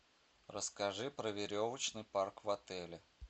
расскажи про веревочный парк в отеле